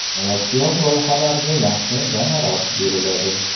Innovatsion loyihalarga yaxshi gonorar beriladi.